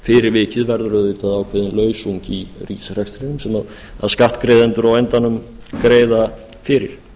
fyrir vikið verður auðvitað ákveðin lausung í ríkisrekstrinum sem skattgreiðendur á endanum greiða fyrir